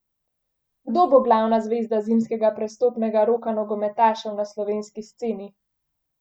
Kdo bo glavna zvezda zimskega prestopnega roka nogometašev na slovenski sceni?